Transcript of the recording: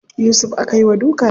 Yusuf aka yi wa duka jiya.